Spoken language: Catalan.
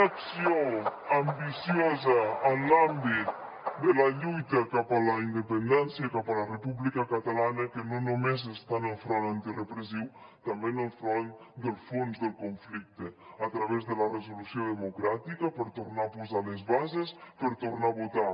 una acció ambiciosa en l’àmbit de la lluita cap a la independència i cap a la república catalana que no només està en el front antirepressiu també en el front del fons del conflicte a través de la resolució democràtica per tornar a posar les bases per tornar a votar